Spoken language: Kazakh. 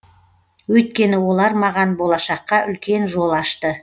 өйткені олар маған болашаққа үлкен жол ашты